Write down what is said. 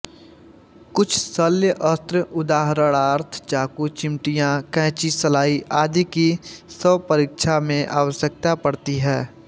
कुछ शल्य अस्त्र उदाहरणार्थ चाकू चिमटियाँ कैंची सलाई आदि की शवपरीक्षा में आवश्यकता पड़ती है